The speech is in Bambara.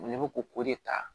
Ne bɛ ko k'o de ta